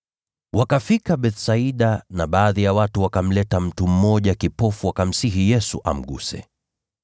Wakafika Bethsaida na baadhi ya watu wakamleta mtu mmoja kipofu wakamsihi Yesu amguse.